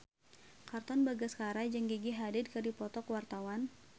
Katon Bagaskara jeung Gigi Hadid keur dipoto ku wartawan